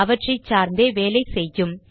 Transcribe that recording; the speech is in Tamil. அவற்றை சார்ந்தே வேலை செய்யும்